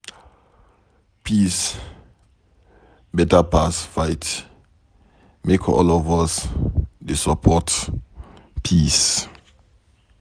Peace beta pass fight, make all of us dey support peace.